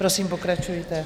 Prosím, pokračujte.